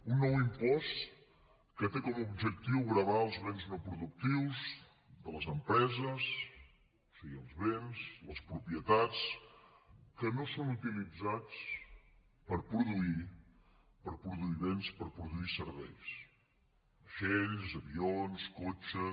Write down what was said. un nou impost que té com a objectiu gravar els béns no productius de les empreses o sigui els béns les propietats que no són utilitzats per produir béns per produir serveis vaixells avions cotxes